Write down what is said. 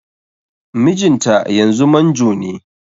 Mijinta yanzu manjo ne